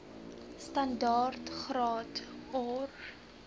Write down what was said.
standaard graad or